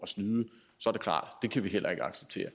snyde så kan vi heller ikke acceptere